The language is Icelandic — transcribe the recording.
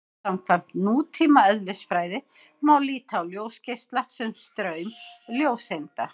Samkvæmt nútíma eðlisfræði má líta á ljósgeisla sem straum ljóseinda.